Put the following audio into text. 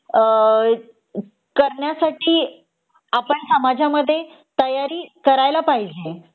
अ करण्यासाठी आपण समाजामध्ये तयारी करायला पाहिजे